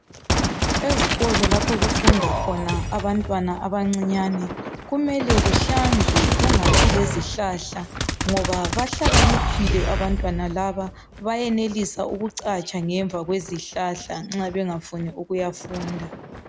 Ezikolo lapho okufunda khona abantwana abancinyane kumele kuhlanzwe kungabi lezihlahla ngoba bahlakaniphile abantwana laba bayenelisa ukucatsha ngemva kwezihlahla nxa bengafuni ukuyafunda